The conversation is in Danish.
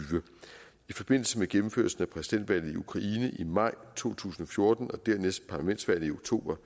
i forbindelse med gennemførelsen af præsidentvalget i ukraine i maj to tusind og fjorten og dernæst parlamentsvalget i oktober